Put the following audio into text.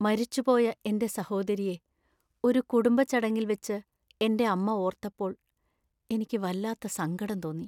മരിച്ചു പോയ എന്‍റെ സഹോദരിയെ ഒരു ഒരു കുടുംബ ചടങ്ങിൽ വച്ച് എന്‍റെ അമ്മ ഓർത്തപ്പോൾ എനിക്ക് വല്ലാത്ത സങ്കടം തോന്നി.